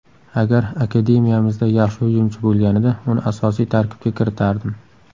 Agar akademiyamizda yaxshi hujumchi bo‘lganida uni asosiy tarkibga kiritardim.